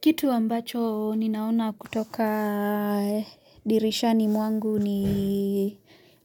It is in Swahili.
Kitu ambacho ninaona kutoka dirishani mwangu ni